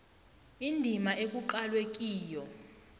indima ekuqalwe kiyo